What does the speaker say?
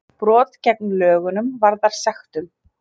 Brot gegn lögunum varða sektum